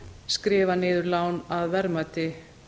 skrifa maður lán að verðmæti